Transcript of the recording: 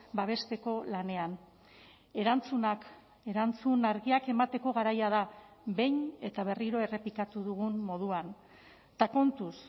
babesteko lanean erantzunak erantzun argiak emateko garaia da behin eta berriro errepikatu dugun moduan eta kontuz